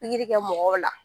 kɛ mɔgɔw la